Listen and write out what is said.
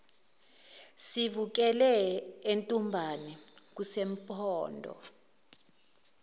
sivukele entumbane kusempondo